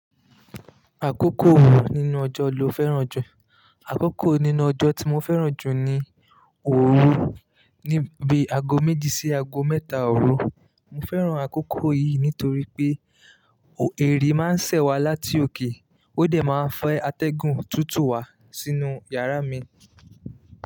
Àkókò wo nínú ọjọ́ lo fẹ́ràn jù? Àkókò nínú ọjọ́ tí mo fẹ́ràn jù ni òru níbi aago méjì sí aago mẹ́ta ọ̀ru Mo fẹ́ràn àkókò yìí nítorí pé o eri máa ń sẹ̀ wá láti òkè, ó dẹ̀ máa fẹ́ atẹ́gùn tútù wá sínú yàrá mi.